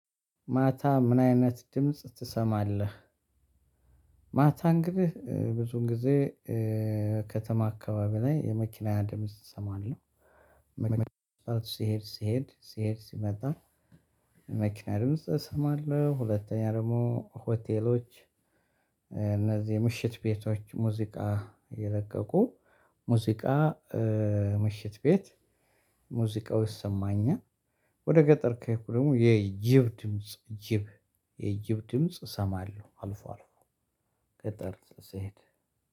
ማታ ምን አይነት ድምጽ ትሰማለህ? ማታ እንግዲህ ብዙን ጊዜ ከተማ አካባቢ ላይ የመኪና ድምጽ እሰማለሁ። ሲሄድ ሲሄድ ሲሄድ ሲመጣ መኪና ድምጽ እሰማለሁ ሁለተኛ ደግሞ ሆቴሎች። እነዚህ የምሽት ቤቶች ሙዚቃ የረቀቁ ሙዚቃ ምሽት ቤት ሙዚቃው ይሰማኝም። ወደ ገጠር ከሄድኩ ደግሞ የጅብ ድምጽ ጅብ የጅብ ድምጽ እሰማለሁ። አልፎ አልፎ ቅጠል ስሄድ።